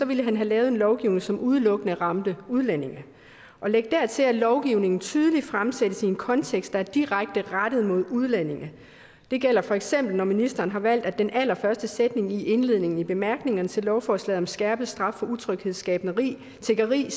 ville han have lavet en lovgivning som udelukkende ramte udlændinge læg dertil at lovgivningen tydeligt fremsættes i en kontekst der er direkte rettet mod udlændinge det gælder feks når ministeren har valgt at den allerførste sætning i indledningen i bemærkningerne til lovforslaget om skærpet straf for utryghedsskabende tiggeri